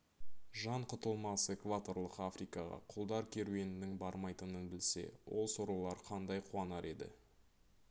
жан құтылмас экваторлық африкаға құлдар керуенінің бармайтынын білсе ол сорлылар қандай қуанар еді